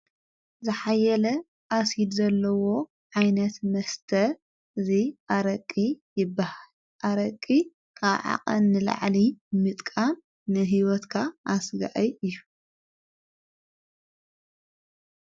ዝኃየለ ኣሲድ ዘለዎ ዓይነት መስተ እዙይ ኣረቂ ይበሃል ኣረቂ ካብዓቐሚ ንላዕሊ ምጥቃ ንሕይወትካ ኣሥጋአይ እዩ።